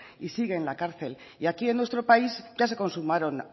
y sigue en la cárcel y aquí en nuestro país y ase consumaron